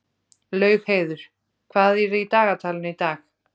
Laugheiður, hvað er í dagatalinu í dag?